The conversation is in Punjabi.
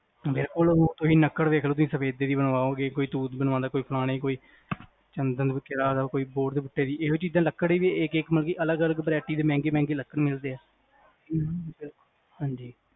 ਬਿਲਕੁਲ ਤੁਸੀ ਲੱਕੜ ਵੇਖਲੋ ਤੁਸੀ ਸਫੈਦੇ ਦੀ ਬਨਵਾਓਗੇ ਕੋਈ ਤੂਤ ਬਨਵਾਦਾ ਕੋਈ ਫਲਾਣੇ ਕੋਈ ਚੰਦਨ ਕੋਈ ਹੋਰ ਚੀਜ਼ਾਂ ਲੱਕੜ ਮਤਲਬ ਕ ਅਲੱਗ ਅਲੱਗ vareity ਮਹਿੰਗੀ ਮਹਿੰਗੀ ਲੱਕੜ ਮਿਲਦੀਆਂ ਹਾਂਜੀ